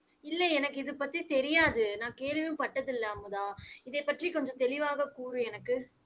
இல்லை எனக்கு இது பத்தி தெரியாது. நான் கேள்வியும் பட்டதில்லை அமுதா. இதைப் பற்றி கொஞ்சம் தெளிவாக கூறு எனக்கு.